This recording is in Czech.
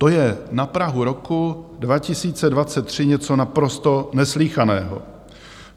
To je na prahu roku 2023 něco naprosto neslýchaného.